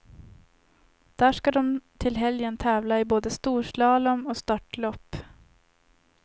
Där ska de till helgen tävla i både storslalom och störtlopp.